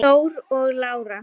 Þór og Lára.